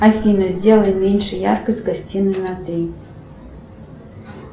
афина сделай меньше яркость в гостиной на три